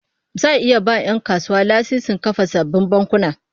Za'a iya ba 'yan kasuwa lasisin kafa sabbin bankuna